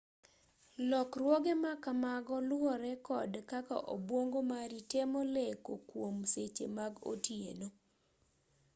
lokruoge ma kamago luwore kod kaka obwongo mari temo leko kwom seche mag otieno